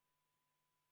Head kolleegid!